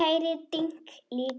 Ég heyri dynki líka.